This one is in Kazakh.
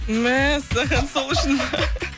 мәссаған сол үшін бе